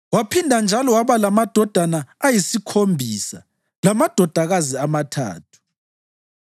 Waphinda njalo waba lamadodana ayisikhombisa lamadodakazi amathathu.